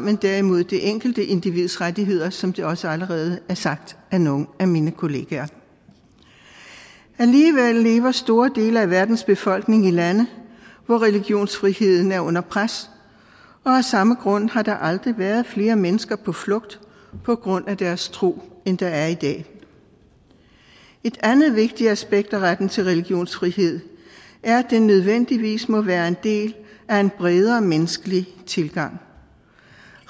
men derimod det enkelte individs rettigheder som det også allerede er blevet sagt af nogle af mine kollegaer alligevel lever store dele af verdens befolkning i lande hvor religionsfriheden er under pres og af samme grund har der aldrig været flere mennesker på flugt på grund af deres tro end der er i dag et andet vigtigt aspekt af retten til religionsfrihed er at den nødvendigvis må være en del af en bredere menneskelig tilgang